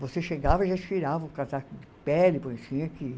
Você chegava e já tirava o casaco de pele, porque tinha que ir.